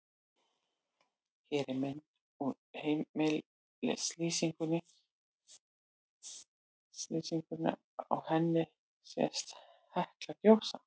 Hér er mynd úr heimslýsingunni, á henni sést Hekla gjósa.